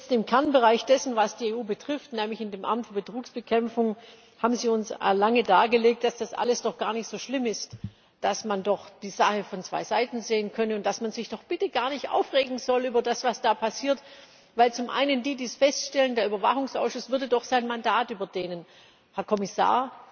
Im Kernbereich dessen, was die EU betrifft, nämlich in dem Amt für Betrugsbekämpfung, haben Sie uns nun lange dargelegt, dass das alles doch gar nicht so schlimm ist, dass man doch die Sache von zwei Seiten sehen könne und dass man sich doch bitte gar nicht aufregen soll über das, was da passiert, weil zum einen die, die das feststellen der Überwachungsausschuss doch ihr Mandat überdehnen würden. Herr Kommissar,